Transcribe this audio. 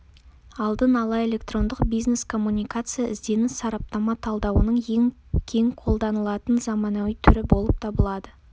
алдын ала электрондық бизнес-коммуникация ізденіс-сараптама талдауының ең кең қолданылатын заманауи түрі болып табылады